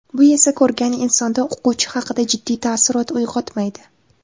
Bu esa ko‘rgan insonda o‘quvchi haqida jiddiy taassurot uyg‘otmaydi.